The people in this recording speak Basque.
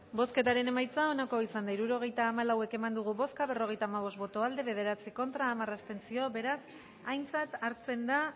bozketaren emaitza onako izan da hirurogeita hamalau eman dugu bozka berrogeita hamabost boto aldekoa bederatzi contra hamar abstentzio beraz aintzat hartzen da